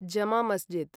जम मस्जिद्